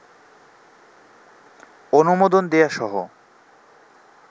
অনুমোদন দেয়াসহ